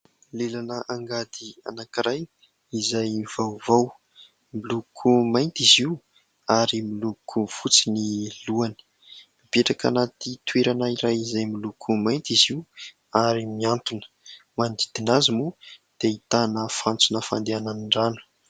Lelan'angady anankiray izay vaovao miloko mainty izy io ary miloko fotsy ny lohany, mipetraka anaty toerana iray izay miloko mainty izy io ary miantona manodidina azy moa dia ahitana fantsona fandehanan'ny rano.